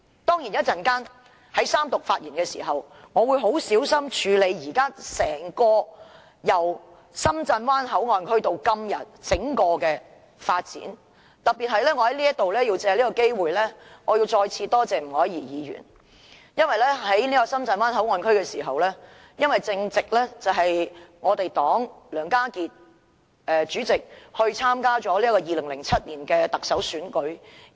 當然，在稍後的三讀發言，我會很小心地處理關乎由深圳灣口岸到今天整個發展過程的部分，而我要藉此機會再次特別感謝前議員吳靄儀，因為在討論深圳灣口岸區的議題時，正值敝黨前主席梁家傑參與2007年特首選舉之時。